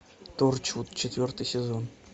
торчвуд четвертый сезон